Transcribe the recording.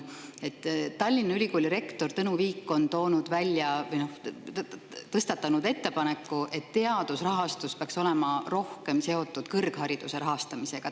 Tallinna Ülikooli rektor Tõnu Viik on tõstatanud ettepaneku, et teadusrahastus peaks olema rohkem seotud kõrghariduse rahastamisega.